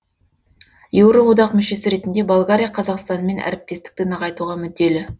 еуроодақ мүшесі ретінде болгария қазақстанмен әріптестікті нығайтуға мүдделі